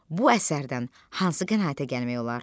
Bu əsərdən hansı qənaətə gəlmək olar?